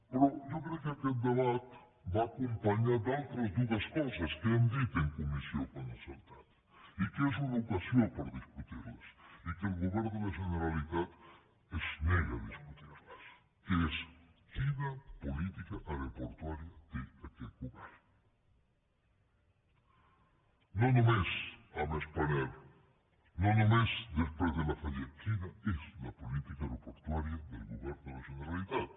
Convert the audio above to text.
però jo crec que aquest debat va acompanyat d’altres dues coses que hem dit en comissió quan ha saltat i que és una ocasió per discutir les i que el govern de la generalitat es nega a discutir les que és quina política aeroportuària té aquest govern no només amb spanair no només després de la fallida quina és la política aeroportuària del govern de la generalitat